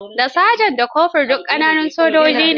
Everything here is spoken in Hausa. Da Saja da Kofur duk ƙananun sojoji ne.